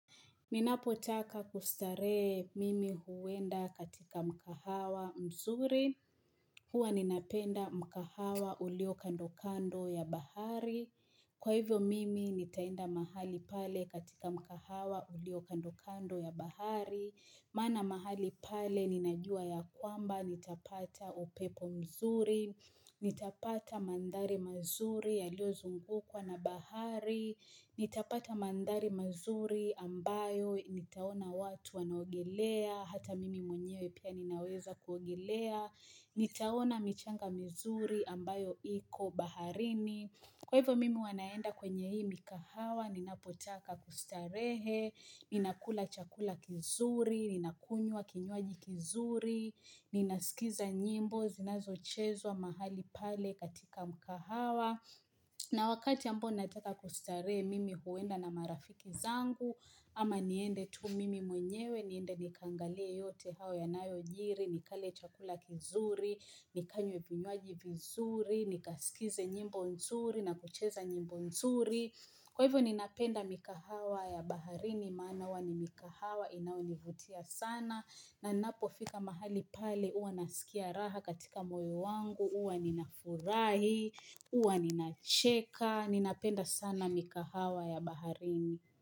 Ninapotaka kustarehe mimi huenda katika mkahawa mzuri, huwa ninapenda mkahawa ulio kando kando ya bahari. Kwa hivyo mimi nitaenda mahali pale katika mkahawa ulio kando kando ya bahari. Maana mahali pale ninajua ya kwamba nitapata upepo mzuri, nitapata mandhari mazuri yaliozungukwa na bahari. Nitapata mandhari mazuri ambayo, nitaona watu wanaogelea, hata mimi mwenyewe pia ninaweza kuogelea nitaona michanga mizuri ambayo iko baharini. Kwa hivyo mimi huwa naenda kwenye hii mikahawa, ninapotaka kustarehe Ninakula chakula kizuri, ninakunywa kinywaji kizuri Ninasikiza nyimbo zinazochezwa mahali pale katika mkahawa na wakati ambao nataka kustarehe mimi huenda na marafiki zangu ama niende tu mimi mwenyewe niende nikaangalie yote hayo yanayojiri, nikale chakula kizuri, nikanywe vinywaji vizuri, nikaskize nyimbo nzuri na kucheza nyimbo nzuri. Kwa hivyo ninapenda mikahawa ya baharini maana huwa ni mikahawa inayonivutia sana na ninapofika mahali pale huwa nasikia raha katika moyo wangu huwa ninafurahi huwa ninacheka ninapenda sana mikahawa ya baharini.